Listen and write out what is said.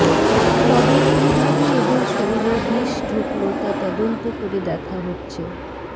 তবে কী ভাবে এদের শরীরে বিষ ঢুকলো তা তদন্ত করে দেখা হচ্ছে